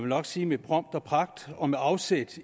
nok sige med pomp og pragt og med afsæt